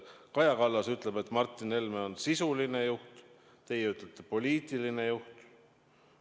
Kaja Kallas ütleb, et Martin Helme on sisuline juht, teie ütlete, et ta on poliitiline juht.